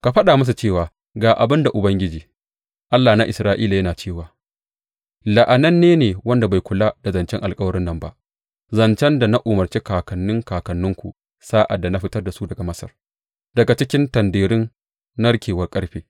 Ka faɗa musu cewa ga abin da Ubangiji, Allah na Isra’ila yana cewa, La’ananne ne wanda bai kula da zancen alkawarin nan ba, zancen da na umarci kakanni kakanninku sa’ad da na fitar da su daga Masar, daga cikin tanderun narkewar ƙarfe.’